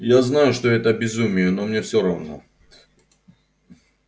я знаю что это безумие но мне всё равно